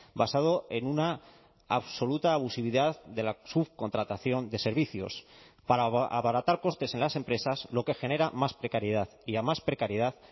basado en una absoluta abusividad de la subcontratación de servicios para abaratar costes en las empresas lo que genera más precariedad y a más precariedad